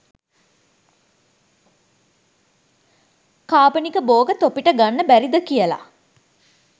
කාබනික බෝග තොපිට ගන්න බැරිද කියල